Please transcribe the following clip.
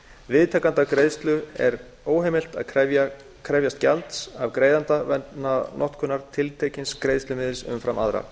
viðtakanda greiðslu er óheimilt að krefjast gjalds af greiðanda vegna notkunar tiltekins greiðslumiðils umfram aðra